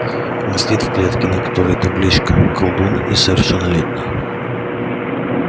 он сидит в клетке на которой табличка колдун несовершеннолетний